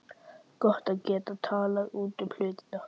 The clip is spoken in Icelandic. Gott að geta talað út um hlutina.